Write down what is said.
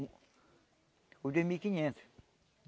Os dois mil e quinhentos.